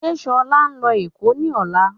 Ṣe Ṣọlá ńlọ Èkó ni ọ̀la?